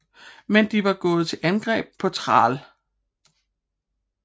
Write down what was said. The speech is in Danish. Men de var gået til angreb på Thrall